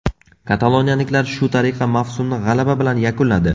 Kataloniyaliklar shu tariqa mavsumni g‘alaba bilan yakunladi.